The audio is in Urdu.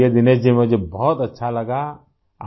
چلیں! دنیش جی ، مجھے بہت اچھا لگا